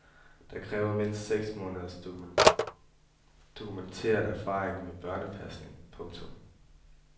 Der kræves mindst seks måneders dokumenteret erfaring med børnepasning. punktum